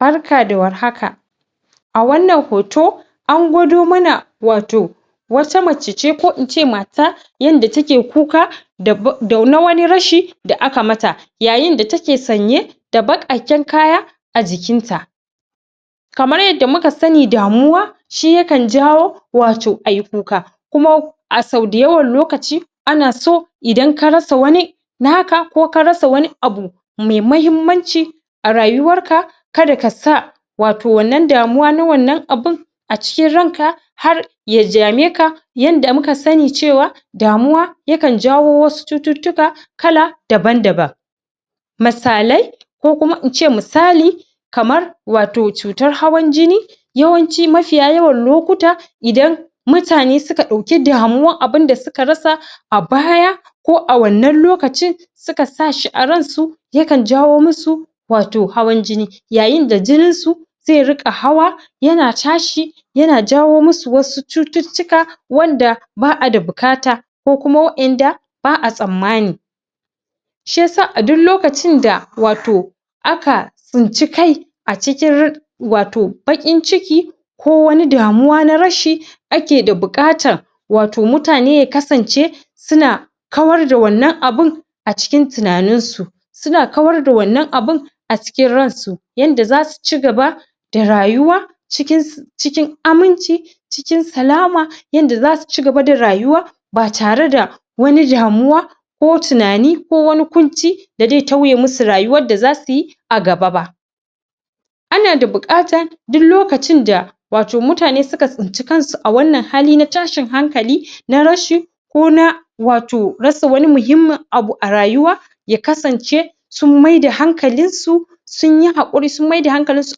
Barka da warhaka a wannan hoto an gwado mana wato wata mace ce ko ince mata yanda take kuka da na wani rashi da aka mata, yayin da take sanye da baƙaƙen kaya a jikin ta kamar yadda muka sani damuwa shi yakan jawo wato ai kuka kuma a sau da yawan lokaci ana so idan ka rasa wani naka, ko ka rasa wani abu me mahimmanci a rayuwar ka kada kasa wato wannan damuwa na wannan abun a cikin ran ka har ya dame ka yanda muka sani cewa damuwa yakan jawo wasu cututtuka kala daban-daban misalai ko kuma ince misali kamar wato cutar hawan jini yawanci mafiya yawan lokuta idan mutane suka ɗauki damuwan abunda suka rasa a baya ko a wannan lokacin suka sa shi a ran su yakan jawo musu wato hawan jini, yayin da jinin su ze riƙa hawa yana tashi, yana jawo musu wasu cututtuka wanda ba'a da buƙata ko kuma waƴanda ba'a tsammani shi yasa a duk lokacin da wato aka tsinci kai a cikin rir wato baƙin ciki ko wani damuwa na rashi ake da buƙatan wato mutane ya kasance su na kawar da wannan abun a cikin tunanin su suna kawar da wannan abun a cikin ran su yanda zasu cigaba da rayuwa cikin aminci cikin salama yanda zasu cigaba da rayuwa ba tare da wani damuwa ko tunani, ko wani ƙunci da zai tauye musu rayuwan da zasu yi a nan gaba ba ana da buƙata duk lokacin da wato mutane suka tsinci kan su a wannan hali na tashin hankali na rashi ko na wato rasa wani muhimmin abu a rayuwa ya kasance sun maida hankalin su sun yi haƙuri sun maida hankalin su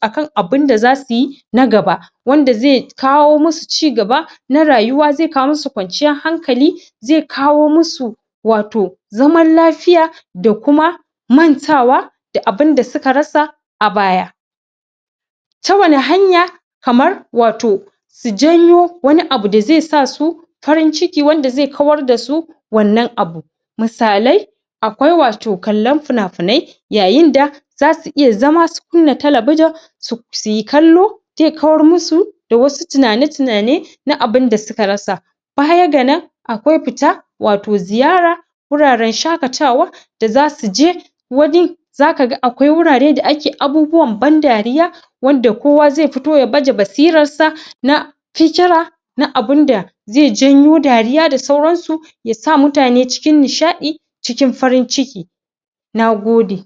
akan abinda zasu yi na gaba wanda ze kawo musu cigaba na rayuwa ze kawo musu kwanciyar hankali ze kawo musu wato zaman lafiya da kuma mantawa da abinda suka rasa a baya ta wani hanya kamar wato su janyo wani abu da ze sa su farin ciki wanda ze kawar da su wannan abu, misalai akwai wato kallon fina-finai yayin da zasu iya zama su kunna talabijin su yi kallo je kawar musu da wasu tunane-tunane na abinda suka rasa baya ga nan akwai fita wato ziyara wuraren shaƙatawa da zasu je wani zaka ga akwai wurare da ake abubuwan ban dariya wanda kowa ze fito ya baje basirar sa na fikira na abin da je janyo dariya da sauran su ya sa mutane cikin nishaɗi, cikin farin ciki na gode.